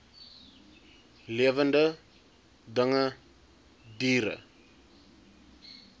lewende dinge diere